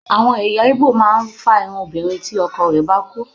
Àwọn ẹ̀yà Igbo máa ń fá irun obiǹrin tí ọkọ rẹ̀ bá kú.